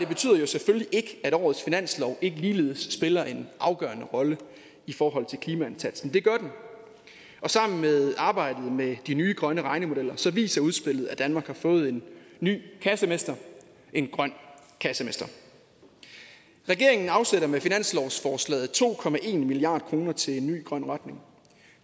betyder jo selvfølgelig ikke at årets finanslov ikke ligeledes spiller en afgørende rolle i forhold til klimaindsatsen det gør den og sammen med arbejdet med de nye grønne regnemodeller viser udspillet at danmark har fået en ny kassemester en grøn kassemester regeringen afsætter med finanslovsforslaget to milliard kroner til en ny grøn retning